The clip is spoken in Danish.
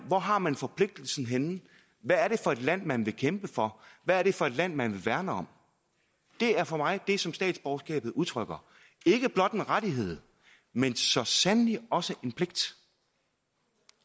hvor har man forpligtelsen henne hvad er det for et land man vil kæmpe for hvad er det for et land man vil værne om det er for mig det som statsborgerskabet udtrykker ikke blot en rettighed men så sandelig også